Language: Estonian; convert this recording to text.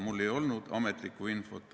Mul ei olnud ametlikku infot.